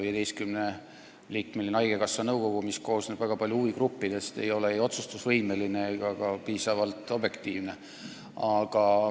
15-liikmeline haigekassa nõukogu, mis koosneb väga paljude huvigruppide esindajatest, ei ole otsustusvõimeline ega ka piisavalt objektiivne.